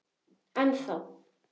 En þá!